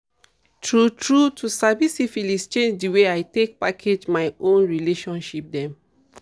true true to sabi syphilis change the way i take package my own relationship dem